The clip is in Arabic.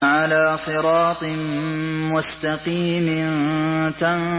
عَلَىٰ صِرَاطٍ مُّسْتَقِيمٍ